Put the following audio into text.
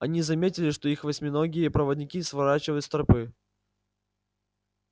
они заметили что их восьминогие проводники сворачивают с тропы